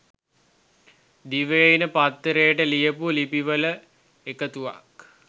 දිවයින පත්තරේට ලියපු ලිපි වල එකතුවක්.